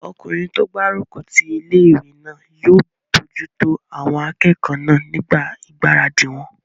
Ọkùnrin tó gbárùkù ti ilé-ìwé náà yóò bojútó àwọn akẹ́kọ̀ọ́ náà nígbà ìgbáradì wọn